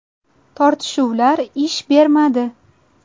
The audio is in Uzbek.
Tortishuvlar ish bermadi.